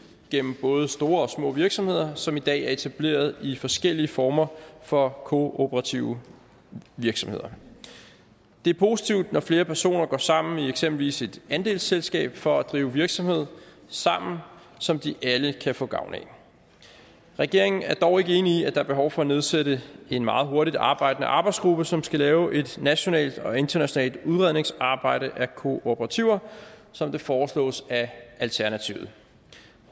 gennem både store og små virksomheder som i dag er etableret i forskellige former for kooperative virksomheder det er positivt når flere personer går sammen i eksempelvis et andelsselskab for at drive virksomhed sammen som de alle kan få gavn af regeringen er dog ikke enig i at der er behov for at nedsætte en meget hurtigtarbejdende arbejdsgruppe som skal lave et nationalt og internationalt udredningsarbejde af kooperativer som det foreslås af alternativet